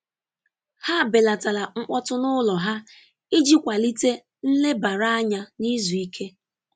Ha belatara mkpọtụ n’ụlọ ha iji kwalite nlebara anya na izu ike.